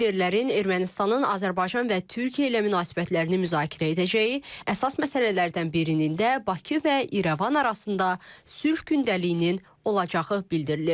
Liderlərin Ermənistanın Azərbaycan və Türkiyə ilə münasibətlərini müzakirə edəcəyi, əsas məsələlərdən birinin də Bakı və İrəvan arasında sülh gündəliyinin olacağı bildirilir.